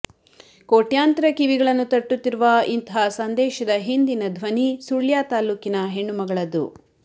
ಕೋಟ್ಯಾಂತರ ಕಿವಿಗಳನ್ನು ತಟ್ಟುತ್ತಿರುವ ಇಂತಹ ಸಂದೇಶದ ಹಿಂದಿನ ಧ್ವನಿ ಸುಳ್ಯ ತಾಲೂಕಿನ ಹೆಣ್ಣು ಮಗಳದ್ದು